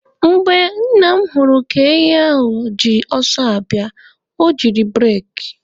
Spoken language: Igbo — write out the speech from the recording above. Mgbe Nna m hụrụ ka ehi ahụ ji ọsọ abịa, o jiri bureki.